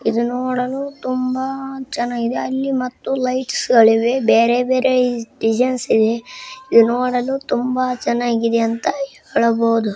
ಇಲ್ಲಿ ನೋಡಲು ತುಂಬಾ ಚೆನ್ನಾಗಿದೆ ಅಲ್ಲಿ ಮತ್ತು ಲೈಟ್ಸ್ ಗಳಿವೆ ಬೇರೆ ಬೇರೆ ಡಿಸೈನ್ ಇದೆ ಇದ ನೋಡಲು ತುಂಬಾ ಚೆನ್ನಾಗಿದೆ ಅಂತ ಹೇಳಬಹುದು.